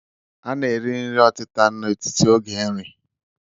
A na-eri nri ọtịta n'etiti oge nri